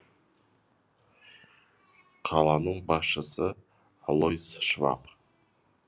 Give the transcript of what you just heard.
қаланың басшысы алойс шваб